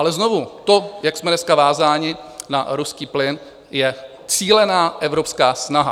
Ale znovu, to, jak jsme dneska vázáni na ruský plyn, je cílená evropská snaha.